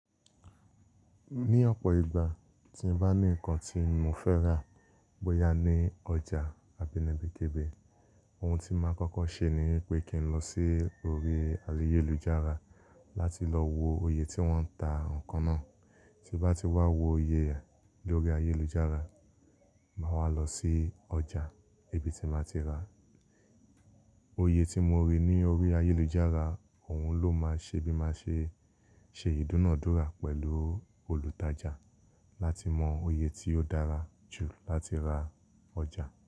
Ní ọ̀pọ̀ ìgbà tí n bá ní ǹkan tí mo fẹ́ rà, bóyá ní ọjà àbí ni ibikibi, ohun tí màá kọ́kọ́ ṣe ní wípé kí n lọ sí orí ayélujára láti lọ wo oye tí wọ́n ń ta ǹkan náà. Tí n bá ti wá wo oye rẹ̀ lórí ayélujára, màá wá lọ sí ọjà ibi tí màá ti ra. Oye tí mo rí ní orí ayélujára, òun ló máa ṣe bí màá ṣe ṣe ìdúnàádúrà pẹ̀lú olùtajà láti mọ oye tí ó dára jù láti ra ọjà.